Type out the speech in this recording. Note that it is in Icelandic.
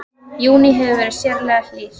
Júní hefur verið sérlega hlýr